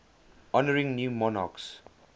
honouring new monarchs